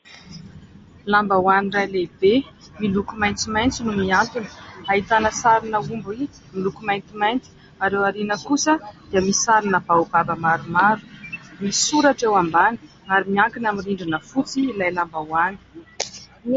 Lambahoany iray lehibe miloko maitsomaitso no mihantona. Ahitana sarina omby miloko maintimainty ary ao aoriana kosa dia misy sarina baobab maromaro. Misy soratra eo ambany ary miankina amin'ny rindrina fotsy ilay lambahoany.